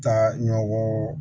Taa ɲɔgɔn